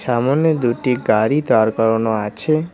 সামোনে দুটি গাড়ি দাঁড় করানো আছে।